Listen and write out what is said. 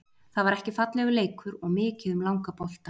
Þetta var ekki fallegur leikur og mikið um langa bolta.